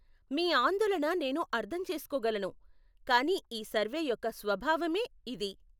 మీ ఆందోళన నేను అర్ధం చేసుకోగలను, కానీ ఈ సర్వే యొక్క స్వభావమే ఇది.